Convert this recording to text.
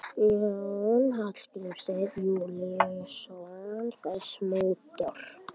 Jón Hólmsteinn Júlíusson: Þessi mótor?